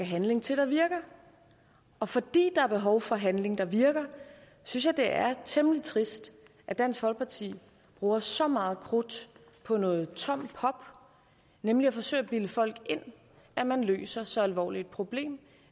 handling til der virker og fordi der er behov for handling der virker synes jeg det er temmelig trist at dansk folkeparti bruger så meget krudt på noget tomt pop nemlig at forsøge at bilde folk ind at man løser så alvorligt et problem